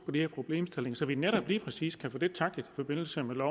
her problemstilling så vi netop lige præcis kan få det tacklet i forbindelse med